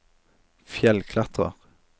fjellklatrer